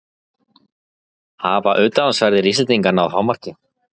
Hafa utanlandsferðir Íslendinga náð hámarki?